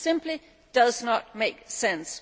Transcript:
It simply does not make sense.